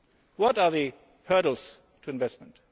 What are the hurdles to investment?